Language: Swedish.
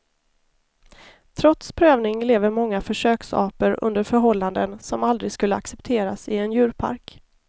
Trots prövning lever många försöksapor under förhållanden som aldrig skulle accepteras i en djurpark.